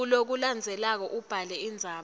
kulokulandzelako ubhale indzaba